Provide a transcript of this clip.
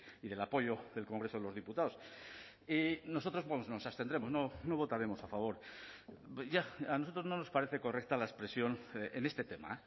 y del apoyo del congreso de los diputados y nosotros nos abstendremos no votaremos a favor a nosotros no nos parece correcta la expresión en este tema